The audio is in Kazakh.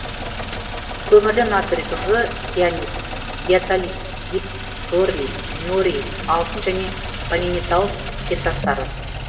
көмірлі натрий тұзы кианит диатолит гипс торий ниорий алтын және полиметалл кентастары